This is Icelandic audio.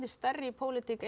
stærri í pólitík